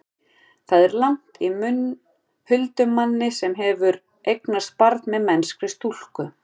það er lagt í munn huldumanni sem hefur eignast barn með mennskri stúlku